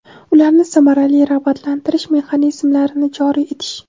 ularni samarali rag‘batlantirish mexanizmlarini joriy etish;.